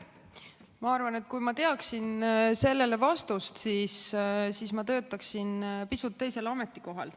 Ma arvan, et kui ma teaksin sellele vastust, siis ma töötaksin pisut teisel ametikohal.